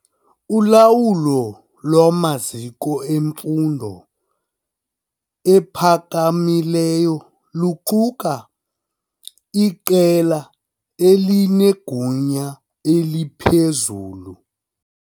Ulawulo lwamaziko emfundo ephakamileyo luquka iqela elinegunya eliphezulu.